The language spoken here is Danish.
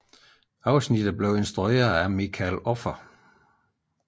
Afsnittet blev instrueret af Michael Offer